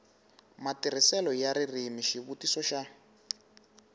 matirhiselo ya ririmi xivutiso xa